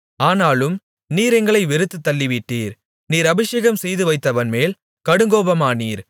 ஆனாலும் நீர் எங்களை வெறுத்துத் தள்ளிவிட்டீர் நீர் அபிஷேகம் செய்துவைத்தவன்மேல் கடுங்கோபமானீர்